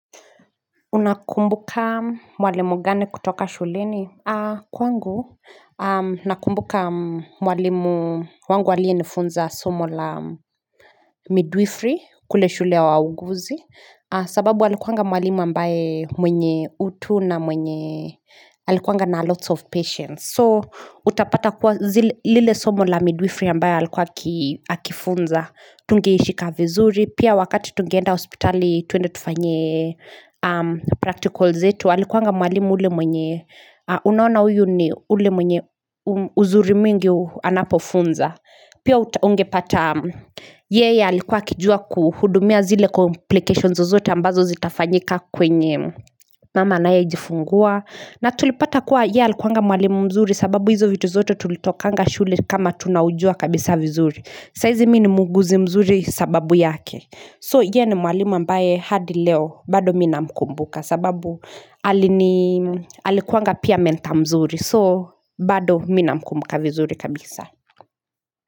Unakumbuka mwalimu gani kutoka shuleni kwangu nakumbuka mwalimu wangu aliyenifunza somo la midwifri kule shule wauguzi sababu alikuwanga mwalimu ambaye mwenye utu na mwenye alikuwanga na lots of patients So utapata kuwa zile lile somo la midwifri ambaye alikuwa akifunza tungeishika vizuri Pia wakati tungeenda hospitali tuende tufanye practicals zetu alikuanga mwalimu ule mwenye unaona huyu ni ule mwenye uzuri mingi anapofunza Pia ungepata yeye alikuwa akijua kuhudumia zile complications zozote ambazo zitafanyika kwenye Mama anayejifungua na tulipata kuwa yeye alikuwanga mwalimu mzuri sababu hizo vitu zote tulitokanga shule kama tunaujua kabisa vizuri sahizi mi ni mwuguzi mzuri sababu yake So ye ni mwalimu ambaye hadi leo bado mimi namkumbuka sababu alini Alikuanga pia mentor mzuri so bado mi namkumbuka vizuri kabisa.